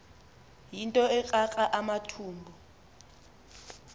yinto ekrakra amathumbu